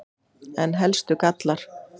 En helstu gallar?